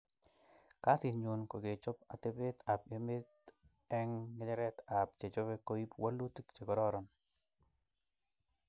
Kasit nyun kokechop atepet ab emet eng ngecheret ab chechope koip walutik che kororon.